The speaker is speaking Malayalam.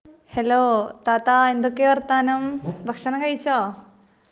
ഹെല്ലോ ,താത്ത എന്തൊക്കെയാ വര്ത്തമാനം ,ഭക്ഷണം കഴിച്ചോ?